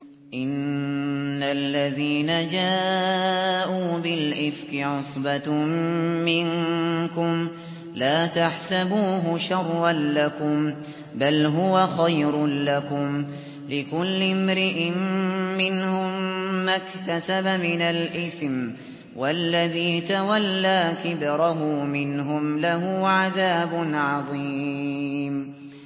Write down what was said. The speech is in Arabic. إِنَّ الَّذِينَ جَاءُوا بِالْإِفْكِ عُصْبَةٌ مِّنكُمْ ۚ لَا تَحْسَبُوهُ شَرًّا لَّكُم ۖ بَلْ هُوَ خَيْرٌ لَّكُمْ ۚ لِكُلِّ امْرِئٍ مِّنْهُم مَّا اكْتَسَبَ مِنَ الْإِثْمِ ۚ وَالَّذِي تَوَلَّىٰ كِبْرَهُ مِنْهُمْ لَهُ عَذَابٌ عَظِيمٌ